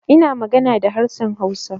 Ina magana da harshen Hausa.